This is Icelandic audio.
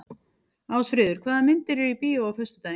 Ásfríður, hvaða myndir eru í bíó á föstudaginn?